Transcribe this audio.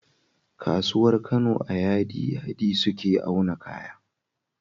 Kasuwar Kano a yadi yadi suke auna kaya